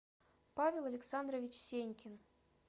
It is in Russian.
павел александрович сенькин